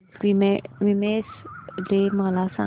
women's day मला सांग